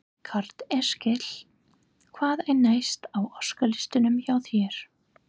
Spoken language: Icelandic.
Karl Eskil: Hvað er næst á óskalistanum hjá þér?